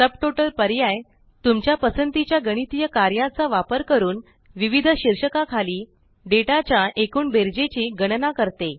subtotal पर्याय तुमच्या पसंतीच्या गणितीय कार्याचा वापर करून विविध शीर्षका खालील डेटा च्या एकूण बेरजेची गणना करते